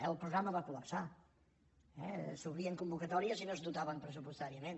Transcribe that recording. el programa va cols’obrien convocatòries i no es dotaven pressupostàri·ament